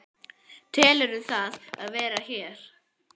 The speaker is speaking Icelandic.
Telurðu að það sé verið að gera hér?